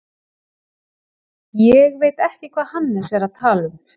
Ég veit ekki hvað Hannes er að tala um.